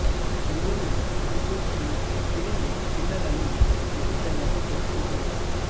చందూని ఫాల్తుస్ అని సిరిని కిల్లర్ అని ముద్దు పేర్లతో పిల్చుకుంటూ ఉంటారు